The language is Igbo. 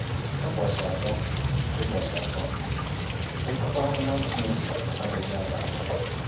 ỤBỌCHỊ ATỌ: ỤBỌCHỊ ATỌ: Okwu Amụma Chineke adịghị ada ada.